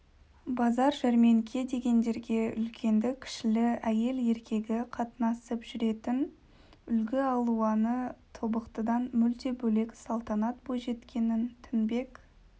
базар жәрменке дегендерге үлкенді-кішілі әйел-еркегі қатынасып жүретін үлгі алуаны тобықтыдан мүлде бөлек салтанат бойжеткеннің тінбек